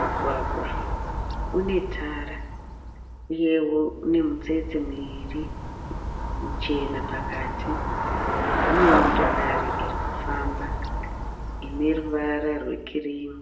Mugwagwa unetara uyewo une mitsetse miviri michena pakati. Une motokari irikufamba ine ruvara rwekirimu.